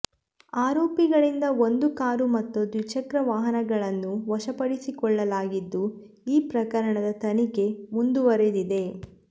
ಆರೋಪಿಗಳಿಂದ ಒಂದು ಕಾರು ಮತ್ತು ದ್ವಿಚಕ್ರ ವಾಹನಗಳನ್ನು ವಶಪಡಿಸಿಕೊಳ್ಳಲಾಗಿದ್ದು ಈ ಪ್ರಕರಣದ ತನಿಖೆ ಮುಂದುವರೆದಿದೆ